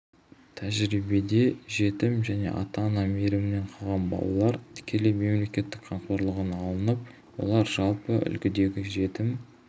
тәжірибеде жетім және ата-ана мейірімінен қалған балалар тікелей мемлекеттің қамқорлығына алынып олар жалпы үлгідегі жетім